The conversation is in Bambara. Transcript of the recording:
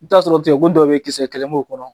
I t'a sɔrɔ cɛ kun dɔw bɛ yen kisɛ kɛlɛ b'u kɔnɔ.